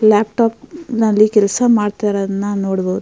laptop ನಲ್ಲಿ ಕೆಲಸ ಮಾಡಿತಾಇರುದನ್ನ ನೋಡಬಹುದು --